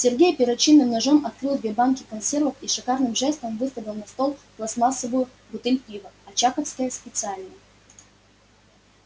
сергей перочинным ножом открыл две банки консервов и шикарным жестом выставил на стол пластмассовую бутыль пива очаковское специальное